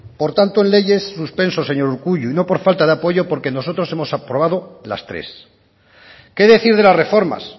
por tanto en leyes suspenso señor urkullu y no por falta de apoyo porque nosotros hemos aprobado las tres qué decir de las reformas